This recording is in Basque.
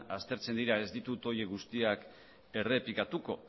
aztertzen dira ez ditut horiek guztiak errepikatuko